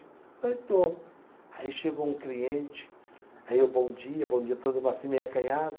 Falei estou. Aí chegou um cliente, aí eu, bom dia, bom dia, todo macio, meio acanhado.